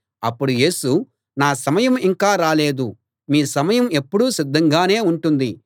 అప్పుడు యేసు నా సమయం ఇంకా రాలేదు మీ సమయం ఎప్పుడూ సిద్ధంగానే ఉంటుంది